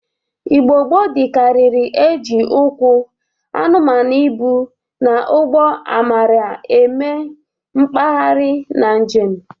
Igbo gboo dịkarịrị e ji ụkwụ, anụmanụ ịbụ, na ụgbọ amara eme mgbaharị na njem